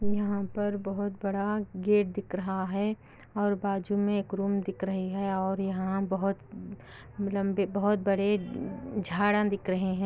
यहाँ पर बहुत बड़ा गेट दिख रहा है और बाज़ू में एक रूम दिख रहे हैं और यहाँ बहुत बड़े झाड़ा दिख रहे हैं |